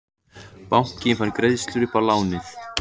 Bankinn fær greiðslur upp í lánið